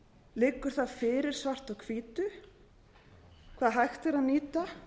liggur það fyrir svart á hvítu hvað hægt er að nýta